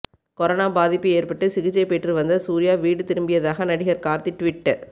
corona பாதிப்பு ஏற்பட்டு சிகிச்சை பெற்றுவந்த சூர்யா வீடு திரும்பியதாக நடிகர் கார்த்தி ட்வீட்